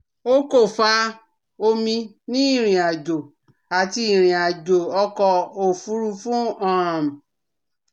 O ko fa omi ni irin-ajo ati irin-ajo ọkọ ofurufu um